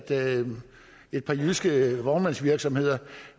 et par jyske vognmandsvirksomheder